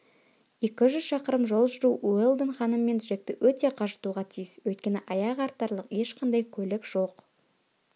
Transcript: екі жүз шақырым жол жүру уэлдон ханым мен джекті өте қажытуға тиіс өйткені аяқ артарлық ешқандай көлік жоқ